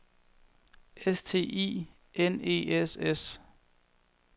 S T E I N E S S